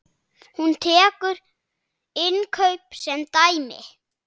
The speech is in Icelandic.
Hún tekur innkaup sem dæmi.